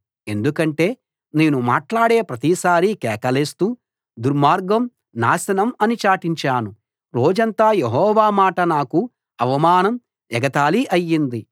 ఎందుకంటే నేను మాట్లాడే ప్రతిసారీ కేకలేస్తూ దుర్మార్గం నాశనం అని చాటించాను రోజంతా యెహోవా మాట నాకు అవమానం ఎగతాళి అయింది